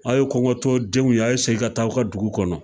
A' ye kɔngɔtɔdenw ye, a ye segin ka taa aw ka dugu kɔnɔ.